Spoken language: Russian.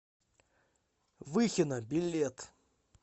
выхино билет